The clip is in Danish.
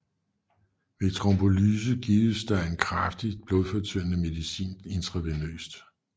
Ved trombolyse gives der en kraftig blodfortyndende medicin intravenøst